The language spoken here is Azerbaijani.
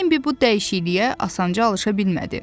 Bembi bu dəyişikliyə asanca alışa bilmədi.